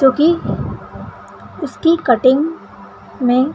तो की उस की कटिंग में --